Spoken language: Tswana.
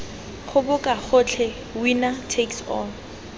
goboka gotlhe winner takes all